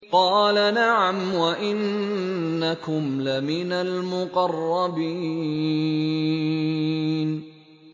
قَالَ نَعَمْ وَإِنَّكُمْ لَمِنَ الْمُقَرَّبِينَ